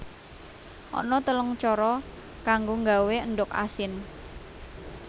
Ana telung cara kanggo nggawé endhog asin